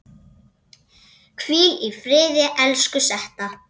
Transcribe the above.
Hvíl í friði, elsku Setta.